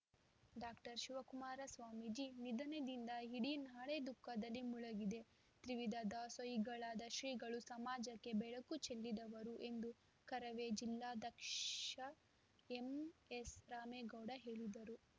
doctor Shivakumara Swamiji ನಿಧನದಿಂದ ಇಡೀ ನಾಡೇ ದುಃಖದಲ್ಲಿ ಮುಳುಗಿದೆ ತ್ರಿವಿಧ ದಾಸೋಹಿಗಳಾದ ಶ್ರೀಗಳು ಸಮಾಜಕ್ಕೆ ಬೆಳಕು ಚೆಲ್ಲಿದವರು ಎಂದು ಕರವೇ ಜಿಲ್ಲಾ ಧ್ಯಕ್ಷ ಎಂಎಸ್‌ರಾಮೇಗೌಡ ಹೇಳಿದರು